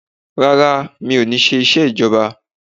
Rárá, mi ò ní ṣe iṣẹ́ ìjọba.